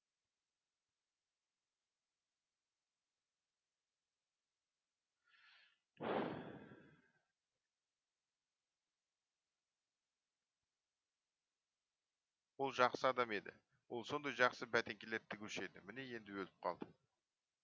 ол жақсы адам еді ол сондай жақсы бәтеңкелер тігуші еді міне енді өліп қалды